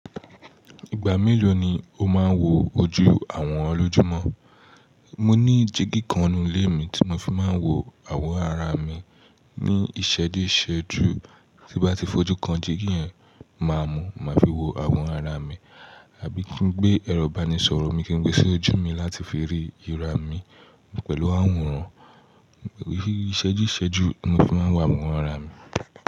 Ìgbà mélòó ni o máa ń wo ojú àwòrán lójúmọ́? Mo ní jígí kan nú ilé mi tí mo fi máa ń wo àwọ̀rán ara mi. Ni ìṣẹ́juṣẹ́jú tí bá ti fojú kan, jígí yẹn màá mú, màá fi wo àwòrán ara mi. Àbí kí n gbé ẹ̀rọ ìbánisọ̀rọ̀ mi kí n gbé sí ojú mi láti fi rí ìra mi pẹ̀lú àwòrán. Ìṣẹ́díṣẹ́jú ni mo fi máa ń wo àwọn ara mi.